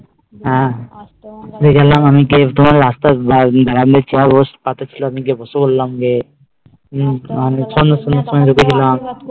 হম তারপর আমি গিয়ে বসে পড়লাম গিয়ে